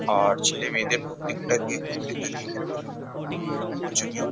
আর ছেলে-মেয়েদের প্রত্যেকটাকে প্রত্যেকজনকে ক্যারাটে শেখানো খুবই প্রয়োজনীয়।